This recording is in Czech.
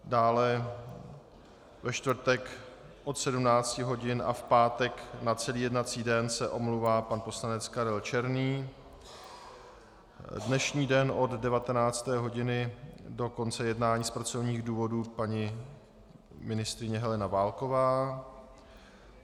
Dále ve čtvrtek od 17 hodin a v pátek na celý jednací den se omlouvá pan poslanec Karel Černý, dnešní den od 19. hodiny do konce jednání z pracovních důvodů paní ministryně Helena Válková.